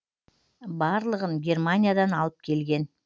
барлығын германиядан алып келген